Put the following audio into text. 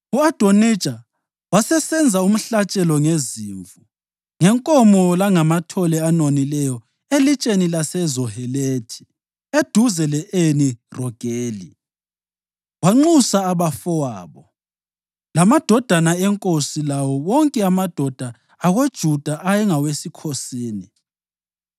U-Adonija wasesenza umhlatshelo ngezimvu, ngenkomo langamathole anonileyo eLitsheni laseZohelethi eduze le-Eni Rogeli. Wanxusa abafowabo, lamadodana enkosi lawo wonke amadoda akoJuda ayengawesikhosini,